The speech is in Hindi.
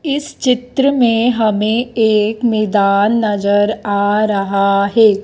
इस चित्र में हमें एक मैदान नजर आ रहा है।